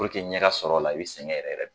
puruke ɲɛ ka sɔrɔ ola i be sɛgɛn yɛrɛ de